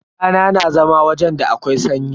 Tana na zama wajen da akwai sanyi.